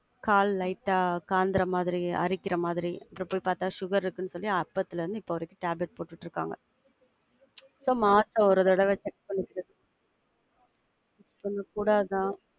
கால் light ஆ, காந்துற மாதிரி, அறிக்கிற மாதிரி, அப்புறம் பாத்தா sugar இருக்குன்னு சொல்லி அப்பத்திலிருந்து இப்ப வரைக்கும் tablet போட்டுட்டு இருக்காங்க. அப்புறம் மாசம் ஒரு தடவ check பண்ணிட்டு, சொல்லக்கூடாது தான்.